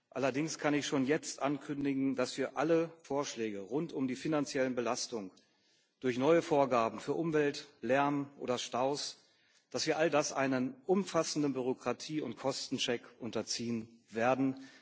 Allerdings kann ich schon jetzt ankündigen, dass wir alle Vorschläge rund um die finanziellen Belastungen durch neue Vorgaben für Umweltlärm oder Staus einem umfassenden Bürokratie und Kostencheck unterziehen werden.